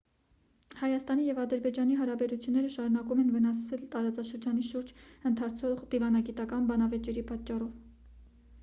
հայաստանի և ադրբեջանի հարաբերությունները շարունակվում են վնասվել տարածաշրջանի շուրջ ընթացող դիվանագիտական բանավեճերի պատճառով